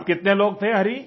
आप कितने लोग थे हरि